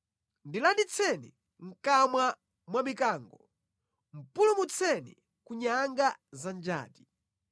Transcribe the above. Ndilanditseni mʼkamwa mwa mikango; pulumutseni ku nyanga za njati.